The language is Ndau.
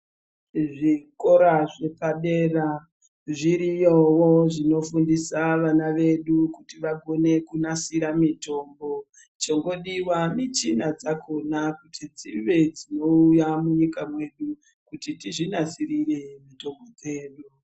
Zvikora zvepadera zviriyowo zvinofundisa vana vedu kuti vagone kunasira mitombo zviriyowo zvinofundisa vana vedu kuti vagone kunasira mitombo zvongodiwa michina yakona kuti dzonga dzeiuya munyika medu kuti tizvinasirire mitombo dzedu.